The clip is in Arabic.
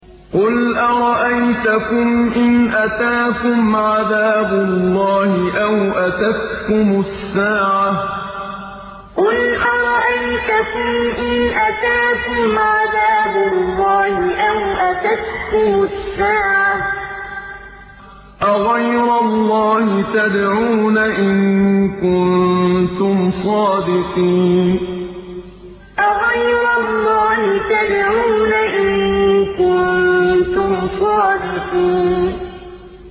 قُلْ أَرَأَيْتَكُمْ إِنْ أَتَاكُمْ عَذَابُ اللَّهِ أَوْ أَتَتْكُمُ السَّاعَةُ أَغَيْرَ اللَّهِ تَدْعُونَ إِن كُنتُمْ صَادِقِينَ قُلْ أَرَأَيْتَكُمْ إِنْ أَتَاكُمْ عَذَابُ اللَّهِ أَوْ أَتَتْكُمُ السَّاعَةُ أَغَيْرَ اللَّهِ تَدْعُونَ إِن كُنتُمْ صَادِقِينَ